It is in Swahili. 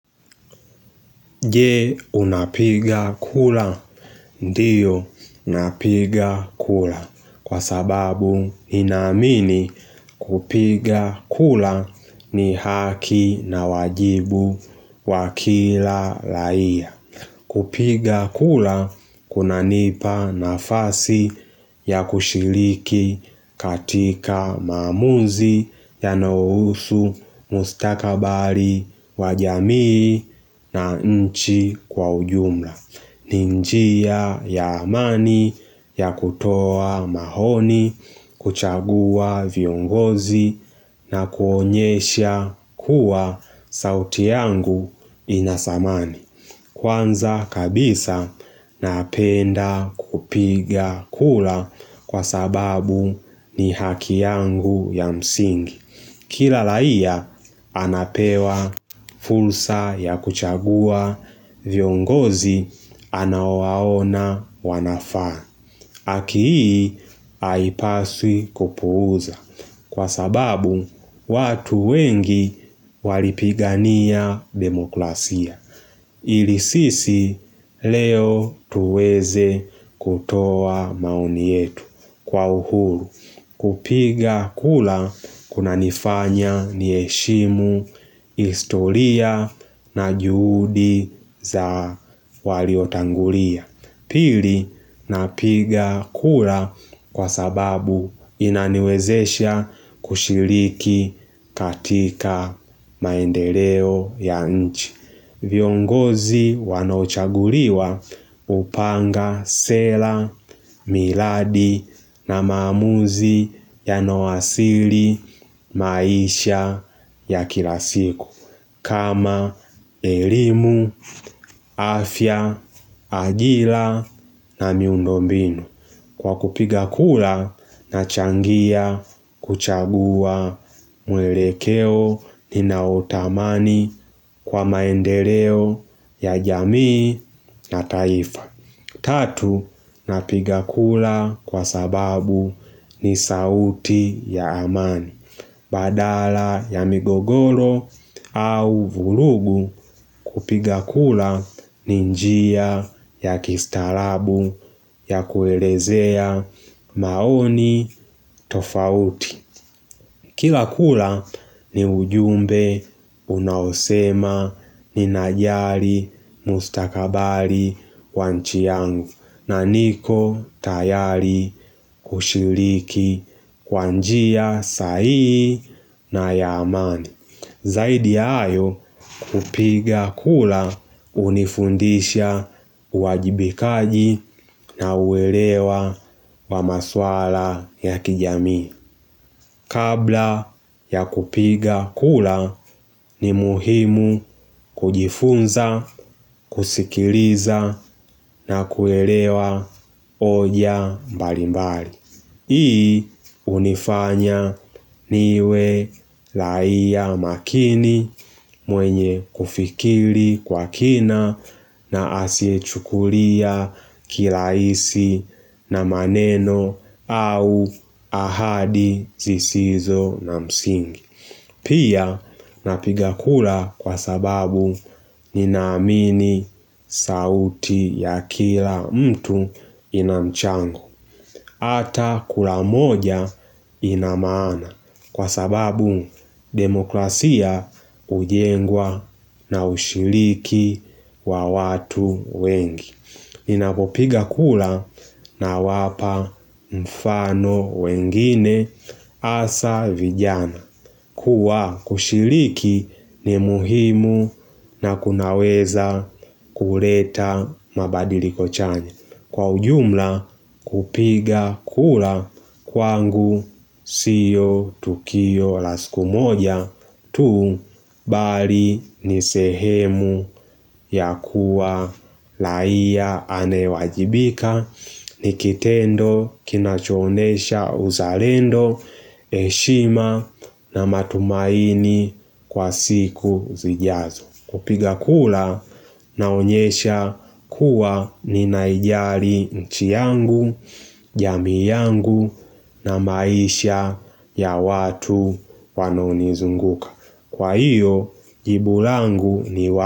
Je unapiga kura? Ndio napiga kura kwa sababu ninaamini kupiga kura ni haki na wajibu wa kila raia. Kupiga kura kunanipa nafasi ya kushiriki katika maamuzi yanayohusu mustakabari wa jamii na nchi kwa ujumla. Ni njia ya amani ya kutoa maoni, kuchagua viongozi na kuonyesha kuwa sauti yangu ina dhamani. Kwanza kabisa, napenda kupiga kura kwa sababu ni haki yangu ya msingi. Kila raia anapewa fursa ya kuchagua viongozi anaowaona wanafaa. Haki hii haipaswi kupuuza kwa sababu watu wengi walipigania demoklasia. Ili sisi leo tuweze kutoa maoni yetu kwa uhuru. Kupiga kura kuna nifanya niheshimu, historia na juhudi za waliotangulia. Pili napiga kura kwa sababu inaniwezesha kushiriki katika maendeleo ya nchi. Viongozi wanochaguliwa hupanga, sela, miradi na maamuzi yanao asili maisha ya kila siku. Kama elimu, afya, ajira na miundo mbinu. Kwa kupiga kura nachangia kuchagua mwelekeo ninaotamani kwa maendeleo ya jamii na taifa. Tatu, napiga kura kwa sababu ni sauti ya amani. Badala ya migogoro au vurugu kupiga kura ni njia ya kistaarabu ya kuelezea maoni tofauti. Kila kura ni ujumbe unaosema ninajali mustakabali wa nchi yangu na niko tayari kushiriki kwa njia sahihi na ya amani. Zaidi ya hayo kupiga kura hunifundisha uwajibikaji na uelewa wa maswala ya kijami. Kabla ya kupiga kura ni muhimu kujifunza, kusikiliza na kuelewa hoja mbali mbali. Hii unifanya niwe raia makini mwenye kufikiri kwa kina na asiye chukulia kirahisi na maneno au ahadi zisizo na msingi. Pia napiga kura kwa sababu ninaamini sauti ya kila mtu ina mchango. Ata kura moja ina maana kwa sababu demoklasia hujengwa na ushiriki wa watu wengi. Ninapopiga kura na wapa mfano wengine hasa vijana. Kuwa kushiriki ni muhimu na kunaweza kuleta mabadiliko chanya. Kwa ujumla kupiga kura kwangu sio tukio la siku moja tu bali ni sehemu ya kuwa raia anayewajibika ni kitendo kinachoonyesha uzalendo heshima na matumaini kwa siku zijazo. Kupiga kura naonyesha kuwa ninaijali nchi yangu, jamii yangu na maisha ya watu wanaonizunguka. Kwa hiyo jibu langu ni wa.